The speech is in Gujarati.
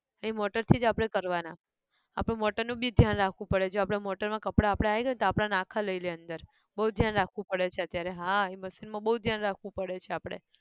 એ motor થી જ આપણે કરવાનાં, આપણું motor નું બી ધ્યાન રાખવું પડે જો આપણે motor માં કપડાં આપણે આય ગયા ન તો આપણન આખા લઇ લેય અંદર બઉ ધ્યાન રાખવું પડે છે અત્યારે હા એ machine માં બઉ ધ્યાન રાખવું પડે છે આપડે